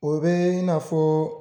O bɛ i n'a fɔ